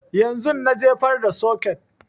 Yanzun na jefar da soket